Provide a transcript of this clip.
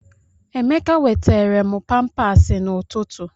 Emeka weteere m pampaasi n'ụtụtụ.